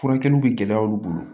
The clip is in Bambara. Furakɛliw bɛ gɛlɛya olu bolo